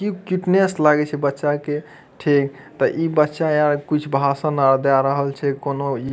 की cuteness लगे छै बच्चा के ठीक त इ बच्चा आ कुछ भाषण आ दे रहल छै कउनो इ --